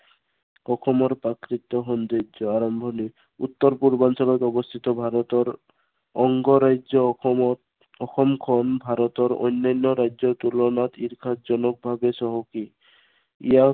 অসমৰ প্ৰাকৃতিক সৌন্দৰ্য, আৰম্ভণি, উত্তৰ পূৰ্বাঞ্চলত অৱস্থিত ভাৰতৰ অংগ ৰাজ্য় অসমত, অসমখন ভাৰতৰ অন্য়ান্য় ৰাজ্য়ৰ তুলনাত ঈৰ্ষাজনকভাৱে চহকী। ইয়াত